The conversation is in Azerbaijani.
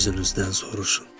Öz-özünüzdən soruşun.